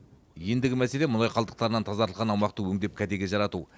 ендігі мәселе мұнай қалдықтарынан тазартылған аумақты өңдеп кәдеге жарату